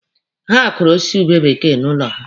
Ha kụrụ osisi ube bekee n'ụlọ ha.